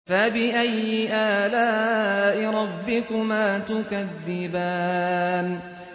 فَبِأَيِّ آلَاءِ رَبِّكُمَا تُكَذِّبَانِ